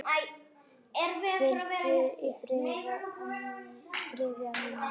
Hvíldu í friði, amma mín.